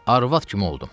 Arvad kimi oldum.